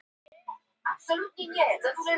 Þetta var greinilega alvöru græja.